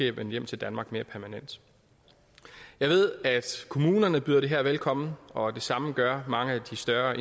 er vendt hjem til danmark jeg ved at kommunerne byder det her velkommen og det samme gør mange af de større